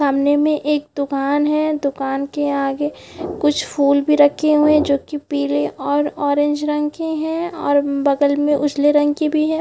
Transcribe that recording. सामने में एक दूकान है दुकान के आगे कुछ फूल भी रखे हुएं हैं जो की पीले और ऑरेंज रंग के हैं और बगल में उसल रंग के भी हैं ।